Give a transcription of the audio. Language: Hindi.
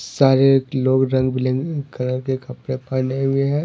सारे लोग रंग बिरंग कलर के कपड़े पहने हुए हैं।